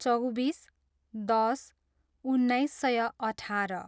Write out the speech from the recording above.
चौबिस, दस, उन्नाइस सय अठार